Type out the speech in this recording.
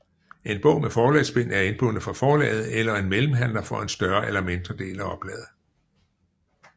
En bog med forlagsbind er indbundet fra forlaget eller en mellemhandler for en større eller mindre del af oplaget